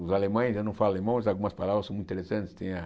Os alemães, eu não falo alemão, mas algumas palavras são muito interessantes. Tem a